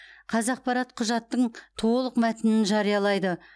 қазақпарат құжаттың толық мәтінін жариялайды